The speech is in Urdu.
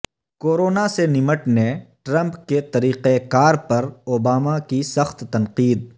کورونا سے نمٹنے ٹرمپ کے طریقہ کار پر اوباما کی سخت تنقید